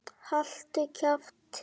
Haltu kjafti!